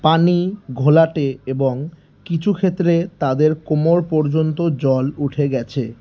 পানি ঘোলাটে এবং কিছুক্ষেত্রে তাদের কোমর পর্যন্ত জল উঠে গেছে।